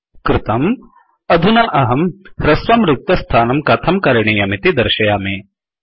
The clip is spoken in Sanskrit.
कृतम् अधुना अहं हृस्वं रिक्तस्थानं कथं करणीयमिति दर्शयामि